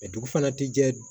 dugu fana ti jɛ